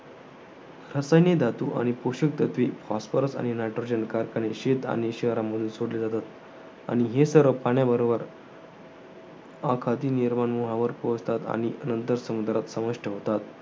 रसायने धातू, आणि पोषक तत्वे phosphorus आणि nitrogen शेत आणि शहरांमधून सोडले जातात. आणि हे सर्व पाण्याबरोबर आखाती निर्वाणमुहावर पोहोचतात आणि नंतर समुद्रात समाविष्ट होतात.